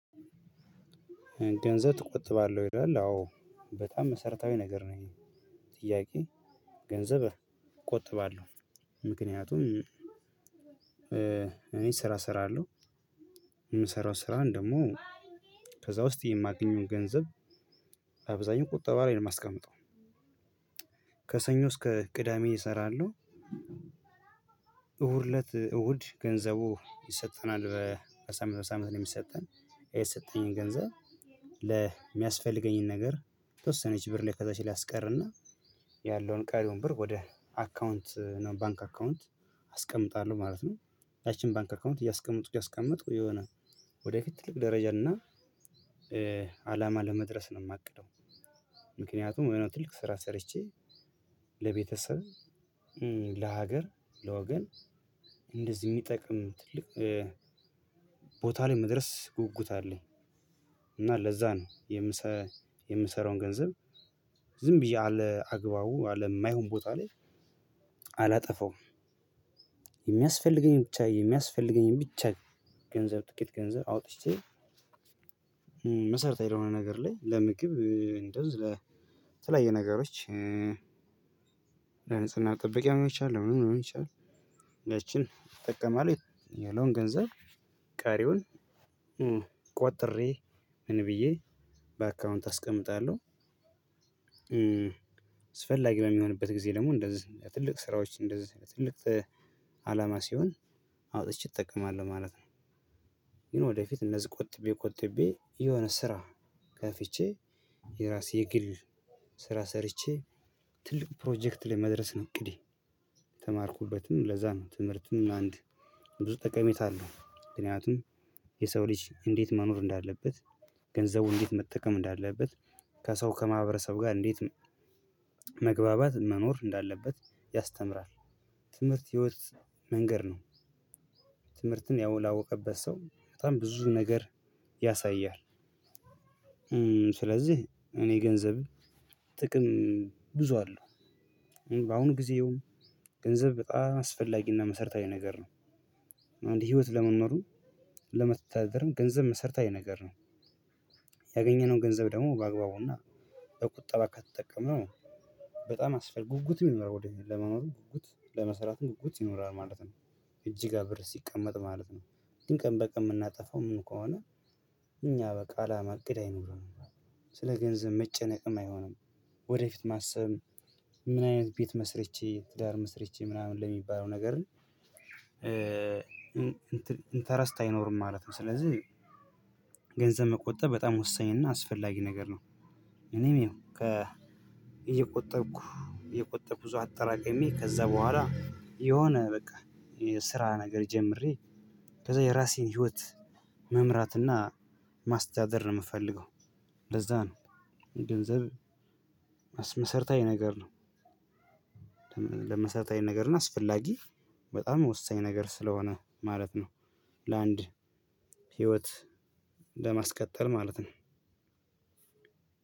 ገንዘብ ትቆጥባለህ ወይ ይላል አዎ በጣም መሰረታዊ ነገር ነው ይሄ ጥያቄ ገንዘብ እቆጥባለሁ ምክንያቱም እኔ ስራ እሰራለሁ የምሰራው ስራን ደግሞ ከዛ ውስጥ የማገኘውን ገንዘብ አብዛኛው ቁጠባ ላይ ነው ማስቀመጠው ከሰኞ እስከ ቅዳሜ እሰራለሁ እሁድ እለት እሁድ ገንዘቡ ይሰጠናል በሳምንት በሳምንት ነው የሚሰጠን የተሰጠኝን ገንዘብ የሚያስፈልገኝን ነገር የተወሰነች ብር ላይ ከዛች ላይ አስቀረና ያለውን ቀሪውን ብር ወደ አካውንት ነው ባንክ አካውንት አስቀምጣለሁ ማለት ነው ያቺን ባንክ አካውንት እያስቀመጥኩ እያስቀመጥኩ የሆነ ወደፊት ትልቅ ደረጃ እና አላማ ለመድረስ ነው የማቅደው የሆነ ትልቅ ስራ ሰርቼ ለቤተሰብ ለሀገር ለወገን እንደዚህ የሚጠቅም ትልቅ ቦታ ላይ መድረስ ጉጉት አለኝ እና ለዛ ነው የምሰራውን ገንዘብ ዝም ብዬ አለ አግባቡ አለ የማይሆን ቦታ ላይ አላጠፋውም የሚያስፈልገኝን ብቻ የሚያስፈልገኝን ብቻ ገንዘብ ጥቂት ገንዘብ አውጥቼ መሰረታዊ የሆነ ነገር ላይ ለምግብ እንደዝ ለተለያዩ ነገሮች ለንጽህና መጠበቂያ ሊሆን ይችላል። ለምንም ሊሆን ይችላል። ይጠቀማል የለውን ገንዘብ ቀሪውን ቆጥሬ ምን ብዬ በአካውንት አስቀምጣለሁ። አስፈላጊ በሚሆንበት ጊዜ ደግሞ እንደዚህ ትልቅ ስራዎች እንደዚህ ትልቅ አላማ ሲሆን አውጥቼ እጠቀማለሁ ማለት ነው። ወደፊት እነዚህ ቆጥቤ ቆጥቤ የሆነ ስራ ከፍቼ የራሴ ግል ስራ ሰርቼ ትልቅ ፕሮጀክት ላይ መድረስ ነው እቅዴ። የተማርኩበትም ለዛ ነው። ትምህርቱም አንድ ብዙ ጠቀሜታ አለው ምክንያቱም የሰው ልጅ እንዴት መኖር እንዳለበት? ገንዘቡ እንዴት መጠቀም እንዳለበት? ከሰው ከማህበረሰብ ጋር እንዴት መግባባት መኖር እንዳለበት ያስተምራል። ትምህርት የህይወት መንገድ ነው። ትምህርትን ያው ላወቀበት ሰው በጣም ብዙ ነገር ያሳያል። ስለዚህ እኔ ገንዘብ ጥቅም ብዙ አለው። በአሁኑ ጊዜም ገንዘብ በጣም አስፈላጊና መሰረታዊ ነገር ነው። አንድ ህይወት ለመኖርም ለማስተዳደርም ገንዘብ መሰርታዊ ነገር ነው። ያገኘነውን ገንዘብ ደግሞ በአግባቡና በቁጠባ ከተጠቀምነው በጣም አስፈላጊ ነው። ጉጉትም ይኖረዋል ወደፊት ለመኖርም ጉጉት ለመስራትም ጉጉት ይኖራል ማለት ነው። እጅ ጋ ብር ሲቀመጥ ማለት ነው። ግን ቀን በቀን የምናጠፋው ምኑ ከሆነ እኛ በቃ አላማ እቅድ አይኖርም። ስለ ገንዘብ መጨነቅም አይሆንም። ወደፊት ማሰብ ምን አይነት ቤት መስርቼ? ትዳር መስርቼ? ምናምን ለሚባለው ነገር ም ኢንተረስት አይኖርም ማለት ነው። ስለዚህ ገንዘብ መቆጠብ በጣም ወሳኝ እና አስፈላጊ ነገር ነው። እኔም ያው እየቆጠብኩ እየቆጠብኩ አጠራቀሜ ከዛ በኋላ የሆነ በቃ የስራ ነገር ጀምሬ ከዛ የራሴን ህይወት መምራት እና ማስተዳደር ነው የምፈልገው። እንደዛ ነው ገንዘብ መሰረታዊ ነገር ነው። ለመሰረታዊ ነገር እና አስፈላጊ በጣም ወሳኝ ነገር ስለሆነ ማለት ነው። ለአንድ ህይወት ለማስቀጠል ማለት ነው።